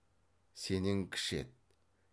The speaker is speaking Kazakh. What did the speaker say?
сенен кіші еді